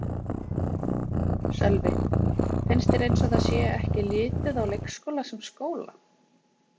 Sölvi: Finnst þér eins og það sé ekki litið á leikskóla sem skóla?